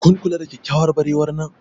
kun lura da kyakkyawar barewar nan?